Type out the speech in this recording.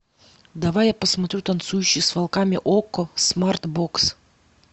давай я посмотрю танцующий с волками окко смарт бокс